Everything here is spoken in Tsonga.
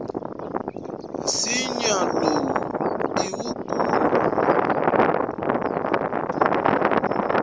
nsinya lowu i wukulu